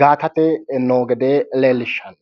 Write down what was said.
gaatate noo gede leellishshanno